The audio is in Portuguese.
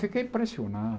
Fiquei impressionado.